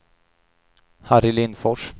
Harry Lindfors